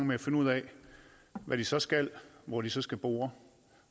med at finde ud af hvad de så skal hvor de så skal bore